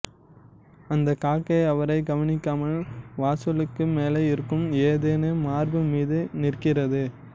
அந்த காக்கை அவரை கவனிக்காமல் வாசலுக்கு மேலே இருக்கும் ஏதெனா மார்பு மீது நிற்கிறது